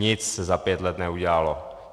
Nic se za pět let neudělalo.